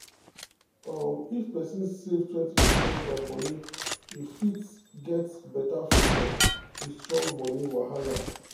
um if person save 20 percent of moni e fit um get better future with strong money um wahala.